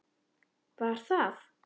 Hún: Var það?